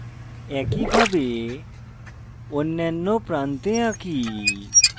একইভাবে অন্যান্য প্রান্তে আঁকি